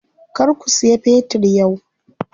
Kar ku siya fetir yau.